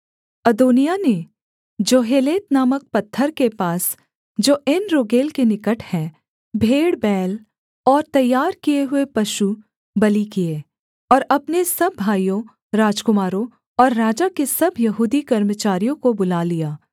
अदोनिय्याह ने जोहेलेत नामक पत्थर के पास जो एनरोगेल के निकट है भेड़बैल और तैयार किए हुए पशुबलि किए और अपने सब भाइयों राजकुमारों और राजा के सब यहूदी कर्मचारियों को बुला लिया